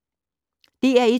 DR1